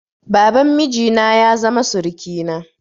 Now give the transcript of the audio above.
Baban miji na ya zama surukina.